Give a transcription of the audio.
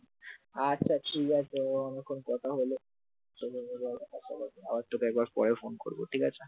আচ্ছা ঠিক আছে অনেকক্ষণ কথা হলো আবার তোকে আবার পরে ফোন করবো ঠিক আছে?